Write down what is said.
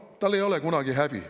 Tal ei ole kunagi häbi.